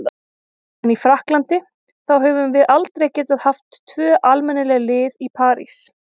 En í Frakklandi, þá höfum við aldrei getað haft tvö almennileg lið í París.